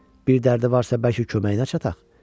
Bir dərdi varsa bəlkə köməyinə çataq?